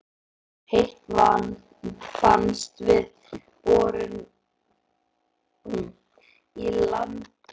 Heitt vatn fannst við borun í landi Eiðhúsa í